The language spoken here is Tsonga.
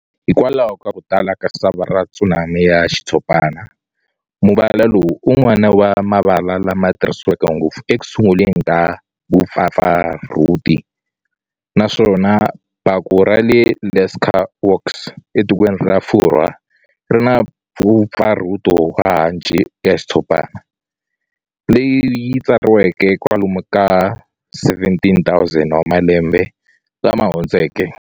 Hikwalaho ka ku tala ka sava ra tsumani ya xitshopana, muvala lowu i wun'wana wa mavala lama tirhisiweke ngopfu ekusunguleni ka vupfapfarhuti, naswona baku rale Lascaux etikweni ra Furhwa rina pfupfarhuto wa hanci ya xitshopana, leyi tsariweke kwalomu ka 17,000 wa malembe lama hundzeke.